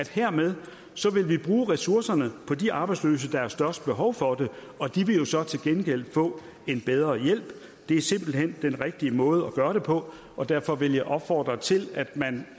hermed vil bruge ressourcerne på de arbejdsløse der har størst behov for det og de vil jo så til gengæld få en bedre hjælp det er simpelt hen den rigtige måde at gøre det på og derfor vil jeg opfordre til